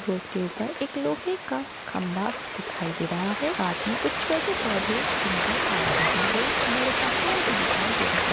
Road के ऊपर एक लोहे का खंभा दिखाई दे रहा हैं साथ में कुछ छोटे पौधे भी नज़र आ रहे हैं बड़े पहाड़ भी दिखाई दे रहे हैं।